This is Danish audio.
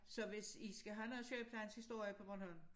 Så hvis I skal have noget sygeplejens historie på Bornholm